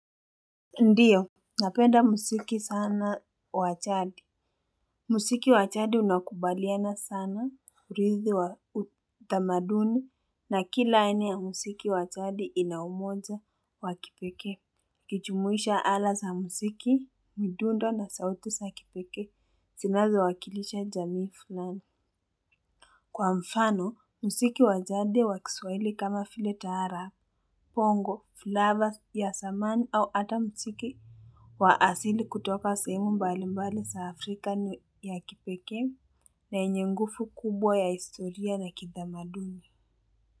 Ndiyo, napenda musiki sana wa chadi. Musiki wa chadi unakubaliana sana hurithi wa utamaduni na kila aina ya musiki wa chadi inaumoja wakipekee. uKichumuisha ala sa musiki, midundo na sauti sa kipekee, sinazo wakilisha jamii fulani. Kwa mfano, musiki wachadi wakiswaili kama file tahara. Pongo, flavors ya samani au ata musiki. Wa asili kutoka sehemu mbali mbali sa Afrika ni ya kipekee na yenye ngufu kubwa ya historia na kidamaduni.